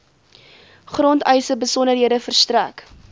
grondeise besonderhede verstrek